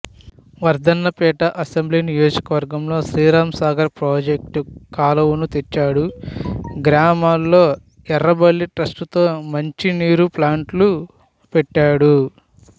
Wardhannapet assembly నియోజకవర్గంలో Sriramsagar project కాలువను తెచ్చాడు గ్రామాల్లో ఎర్రబెల్లి ట్రస్ట్ తో మంచినీరు ప్లాంట్లు పెట్టాడు